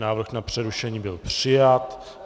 Návrh na přerušení byl přijat.